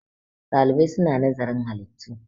ɗalibai suna nazarin halittu